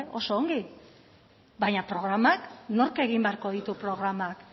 oso ongi baina programak nork egin beharko ditu programak